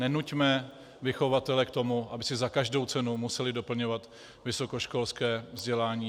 Nenuťme vychovatele k tomu, aby si za každou cenu museli doplňovat vysokoškolské vzdělání.